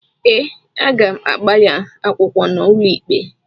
Ee, aga m agba ya akwụkwọ n’ụlọikpe